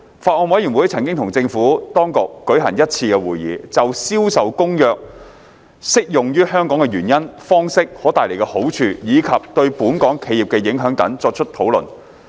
法案委員會曾與政府當局舉行一次會議，就《銷售公約》適用於香港的原因、方式、可帶來的好處，以及對本港企業的影響等作出討論。